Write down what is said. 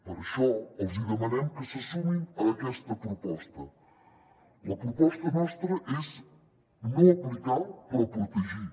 per això els hi demanem que se sumin a aquesta proposta la proposta nostra és no aplicar però protegir